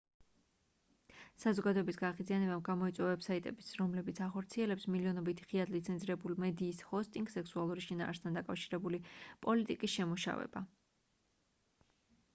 საზოგადოების გაღიზიანებამ გამოიწვია ვებ-საიტების რომლებიც ახორციელებს მილიონობით ღიად ლიცენზირებულ მედიის ჰოსტინგს სექსუალური შინაარსთან დაკავშირებული პოლიტიკის შემუშავება